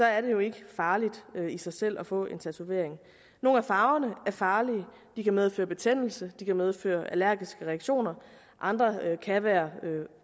er det jo ikke så farligt i sig selv at få en tatovering nogle af farverne er farlige de kan medføre betændelse og de kan medføre allergiske reaktioner andre kan være